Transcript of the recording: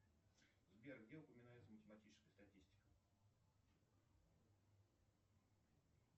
сбер где упоминается математическая статистика